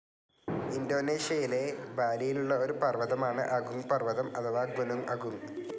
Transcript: ഇന്തോനേഷ്യയിലെ ബാലിയിലുള്ള ഒരു പർവ്വതമാണ് അഗുങ്ങ് പർവ്വതം അഥവാ ഗുനുങ്ങ് അഗുങ്ങ്.